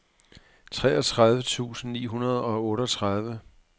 treogtredive tusind ni hundrede og otteogtredive